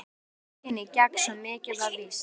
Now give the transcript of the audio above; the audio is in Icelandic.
Hann yrði tekinn í gegn, svo mikið var víst.